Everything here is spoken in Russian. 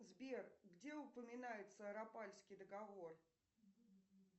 сбер где упоминается рапалльский договор